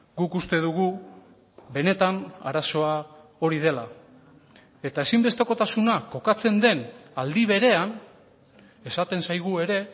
guk uste dugu benetan arazoa hori dela eta ezinbestekotasuna kokatzen den aldi berean esaten zaigu ere